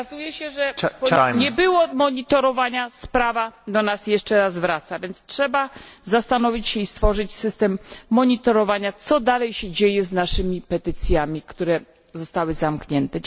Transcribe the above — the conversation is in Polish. Okazuje się, że nie było monitorowania sprawa do nas jeszcze raz wraca, więc trzeba zastanowić się i stworzyć system monitorowania, co dalej się dzieje z naszymi petycjami, które zostały zamknięte.